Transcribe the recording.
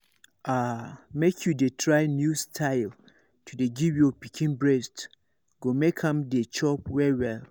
ah make you dey try new style to dey give your pikin breast go make am dey chop well well